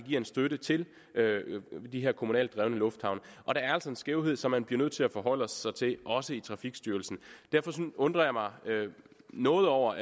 en støtte til de her kommunalt drevne lufthavne og det er altså en skævhed som man bliver nødt til at forholde sig til også i trafikstyrelsen derfor undrer jeg mig noget over